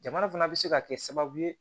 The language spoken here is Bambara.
Jamana fana bɛ se ka kɛ sababu ye